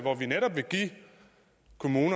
kommunen